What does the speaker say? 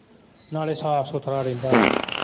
ਨਾਲੇ ਸਾਫ ਸੁੱਥਰਾ ਰਹਿੰਦਾ ਵਾ।